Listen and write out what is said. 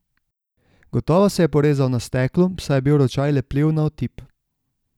Gotovo se je porezal na steklu, saj je bil ročaj lepljiv na otip.